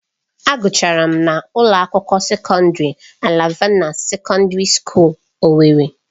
Agụchara m na ụlọ akwụkwọ sekọndrị Alvana Sekọndrị Skuul Owerri